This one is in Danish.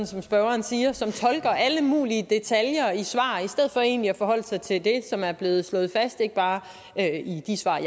som spørgeren siger som tolker alle mulige detaljer i svar i stedet for egentlig at forholde sig til det som er blevet slået fast ikke bare i de svar